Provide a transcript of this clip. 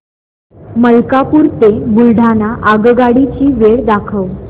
मलकापूर ते बुलढाणा आगगाडी ची वेळ दाखव